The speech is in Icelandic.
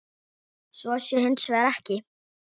Svo sé hins vegar ekki.